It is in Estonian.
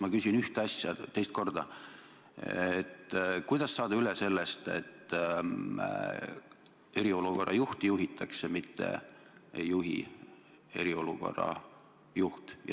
Ma küsin ühte asja teist korda: kuidas saada üle sellest, et eriolukorra juhti juhitakse, mitte ei juhi eriolukorra juht?